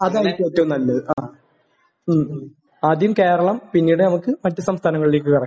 അതായിരിക്കും ഏറ്റവും നല്ലത്. ആഹ്. മ്മ്. ആദ്യം കേരളം. പിന്നീട് നമുക്ക് മറ്റു സംസ്ഥാനങ്ങളിലേക്കും ഇറങ്ങാം.